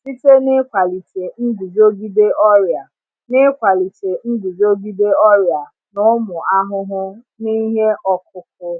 site n’ịkwalite nguzogide ọrịa n’ịkwalite nguzogide ọrịa na ụmụ ahụhụ n’ihe ọkụkụ.